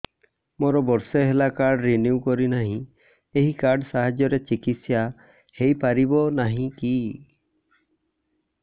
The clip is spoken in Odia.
ମୋର ବର୍ଷେ ହେଲା କାର୍ଡ ରିନିଓ କରିନାହିଁ ଏହି କାର୍ଡ ସାହାଯ୍ୟରେ ଚିକିସୟା ହୈ ପାରିବନାହିଁ କି